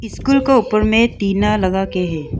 School के ऊपर में टीना लगाके है।